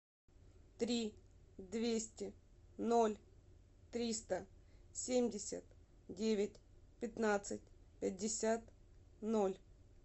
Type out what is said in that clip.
три двести ноль триста семьдесят девять пятнадцать пятьдесят ноль